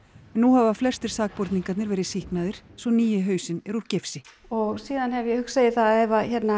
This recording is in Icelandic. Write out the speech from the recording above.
nú hafa flestir sakborningarnir verið sýknaðir svo nýi hausinn er úr gifsi og síðan hef ég hugsað að ef